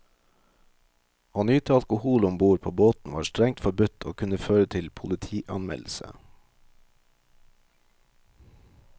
Å nyte alkohol om ord på båten var strengt forbudt, og kunne føre til politianmeldelse.